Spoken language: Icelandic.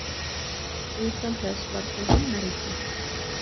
"Utan þess var svo ""Himnaríki."